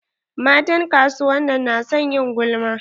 Matan kasuwan nan na son ƴin gulma.